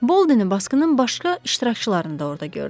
Boldeni basqının başqa iştirakçılarını da orada gördüm.